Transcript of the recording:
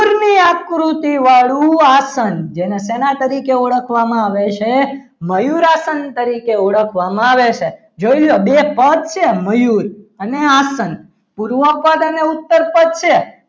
આકૃતિ વાળું આસન જેને સેના તરીકે ઓળખવામાં આવે છે મયુર આસન તરીકે ઓળખવામાં આવે છે જોઈ લો બે પદ છે મયુર અને આસન પૂર્વ પદ અને ઉત્તરપદ છે.